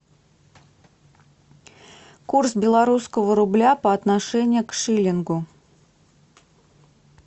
курс белорусского рубля по отношению к шиллингу